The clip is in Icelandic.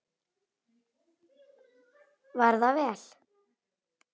Var það vel.